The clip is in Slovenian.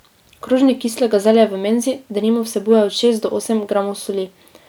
Krožnik kislega zelja v menzi, denimo, vsebuje od šest do osem gramov soli.